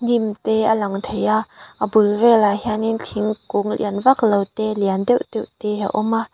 hnim te a lang thei a a bul velah hian in thingkung lian vak lo te lian deuh deuh te a awm a.